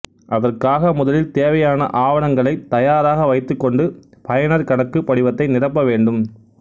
அதற்காக முதலில் தேவையான ஆவணங்களை தயாராக வைத்துக்கொண்டு பயனர் கணக்கு படிவத்தை நிரப்ப வேண்டும்